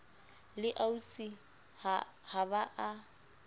le ausi ha ba a